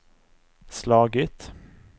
slagit